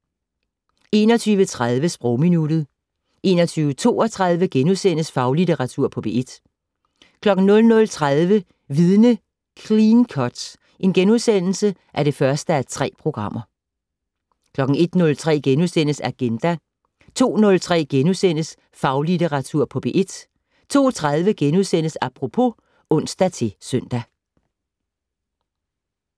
21:30: Sprogminuttet 21:32: Faglitteratur på P1 * 00:30: Vidne - Clean cut (1:3)* 01:03: Agenda * 02:03: Faglitteratur på P1 * 02:30: Apropos *(ons-søn)